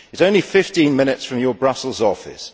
It is only 15 minutes from your Brussels office.